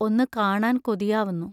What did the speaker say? ഒന്നു കാണാൻ കൊതിയാവുന്നു.